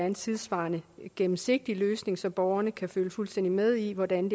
en tidssvarende og gennemsigtig løsning så borgerne kan følge fuldstændig med i hvordan